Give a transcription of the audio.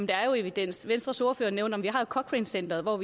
der er evidens venstres ordfører nævnte at vi har cochranecenteret